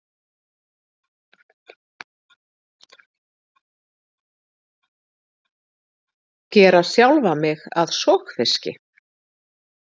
Gera sjálfa mig að sogfiski.